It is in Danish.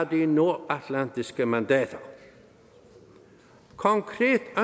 de nordatlantiske mandater konkret